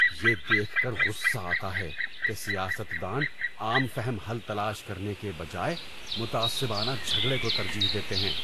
یہ دیکھ کر غصہ آتا ہے کہ سیاست دان عام فہم حل تلاش کرنے کے بجائے متعصبانہ جھگڑے کو ترجیح دیتے ہیں۔